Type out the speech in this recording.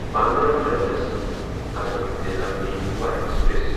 Bandra terminus Hazrat Nizamuddin Yuva express